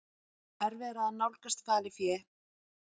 Erfiðara að nálgast falið fé